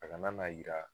A kana n'a yira